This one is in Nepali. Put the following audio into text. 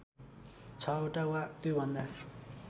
६ वटा वा त्योभन्दा